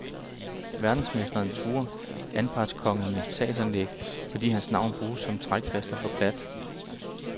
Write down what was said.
Verdensmesteren truer anpartskonge med sagsanlæg, fordi hans navn bruges som trækplaster for plat.